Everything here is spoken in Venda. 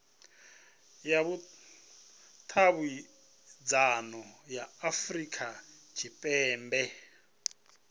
ya vhudavhidzano ya afurika tshipembe